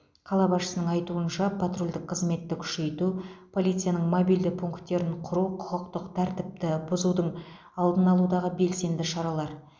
қала басшысының айтуынша патрульдік қызметті күшейту полицияның мобильді пункттерін құру құқықтық тәртіпті бұзудың алдын алудағы белсенді шаралар